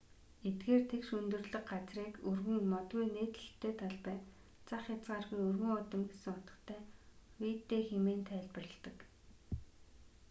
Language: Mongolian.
эдгээр тэгш өндөрлөг газрыг өргөн модгүй нээлттэй талбай зах хязгааргүй өргөн уудам гэсэн утгатай виддэ хэмээн тайлбарладаг